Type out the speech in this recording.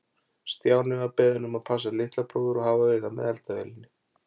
Stjáni var beðinn um að passa litla bróður og hafa auga með eldavélinni.